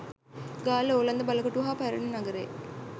ගාල්ල ඕලන්ද බලකොටුව හා පැරණි නගරය